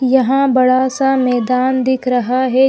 यहाँ बड़ा सा मैदान दिख रखा है।